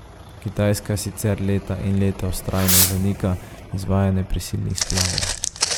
Kitajska sicer leta in leta vztrajno zanika izvajanje prisilnih splavov.